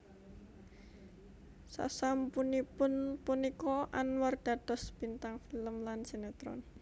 Sasampunipun punika Anwar dados bintang film lan sinetron